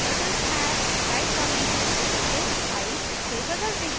user doesn t have write permission to this file से बदलते हैं